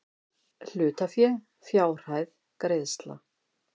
Hlutafé fjárhæð greiðsla